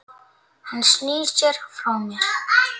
Hann snýr sér frá mér.